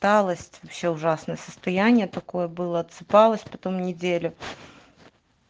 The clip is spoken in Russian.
усталость вообще ужасное состояние такое было отсыпалась потом неделю